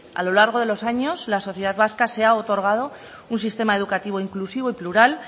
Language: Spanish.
a lo largo de los años la sociedad vasca se ha otorgado un sistema educativo inclusivo y plural